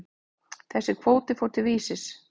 Þessi kvóti fór til Vísis.